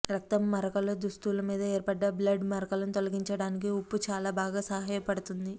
రక్తం మరకలుదుస్తుల మీద ఏర్పడ్డ బ్లడ్ మరకలను తొలగించడానికి ఉప్పు చాలా బాగా సహాయపడుతుంది